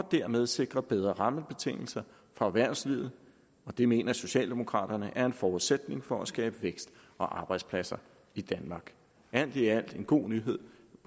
dermed sikre bedre rammebetingelser for erhvervslivet det mener socialdemokraterne er en forudsætning for at skabe vækst og arbejdspladser i danmark alt i alt er det en god nyhed